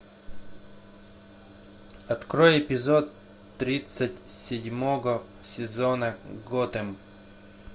открой эпизод тридцать седьмого сезона готэм